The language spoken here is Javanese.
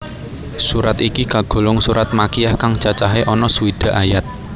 Surat iki kagolong surat Makkiyah kang cacahe ana swidak ayat